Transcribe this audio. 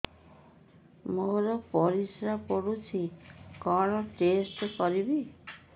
ମୋର ପରିସ୍ରା ପୋଡୁଛି କଣ ଟେଷ୍ଟ କରିବି